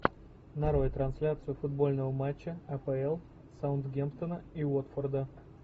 нарой трансляцию футбольного матча апл саутгемптона и уотфорда